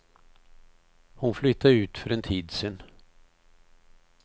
Hon flyttade ut för en tid sedan.